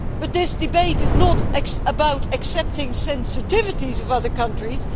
This debate is not about accepting the sensitivities of other countries